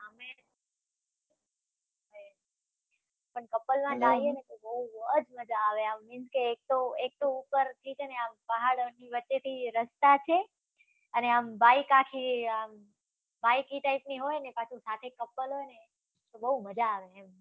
પણ couple માં જાઈને તો બવ જ મજા આવે. આમ means કે એક તો, એક તો ઉપરથી છે ને આમ, પહાડની વચ્ચેથી રસ્તા છે અને આમ, બાઈક આખી આમ, બાઈક ઈ type ની હોય, અને પાછું સાથે couple હોય તો બવ મજા આવે એમ